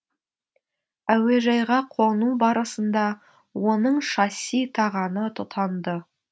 әуежайға қону барысында оның шасси тағаны тұтанды